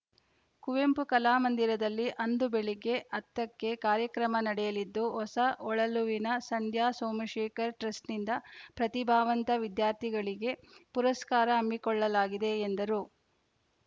ಕುವೆಂಪು ಕಲಾಮಂದಿರದಲ್ಲಿ ಅಂದು ಬೆಳಗ್ಗೆ ಹತ್ತ ಕ್ಕೆ ಕಾರ್ಯಕ್ರಮ ನಡೆಯಲಿದ್ದು ಹೊಸ ಹೊಳಲುವಿನ ಸಂಧ್ಯಾ ಸೋಮಶೇಖರ್‌ ಟ್ರಸ್ಟ್‌ನಿಂದ ಪ್ರತಿಭಾವಂತ ವಿದ್ಯಾರ್ಥಿಗಳಿಗಳಿಗೆ ಪುರಸ್ಕಾರ ಹಮ್ಮಿಕೊಳ್ಳಲಾಗಿದೆ ಎಂದರು